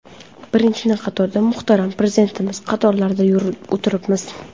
Birinchi qatorda, muhtaram prezidentimiz qatorlarida o‘tiribmiz.